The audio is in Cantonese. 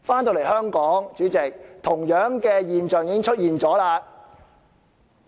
在香港，同樣的現象已經出現。